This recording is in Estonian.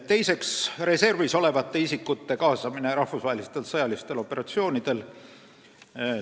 Teiseks, reservis olevate isikute kaasamine rahvusvahelistel sõjalistel operatsioonidel.